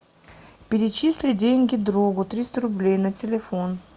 перечисли деньги другу триста рублей на телефон